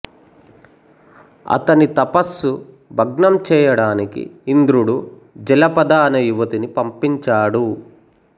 అతని తపస్సు భగ్నంచేయడానికి ఇంద్రుడు జలపద అనే యువతిని పంపించాడు